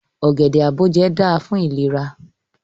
Ogede-aboje da fun ilera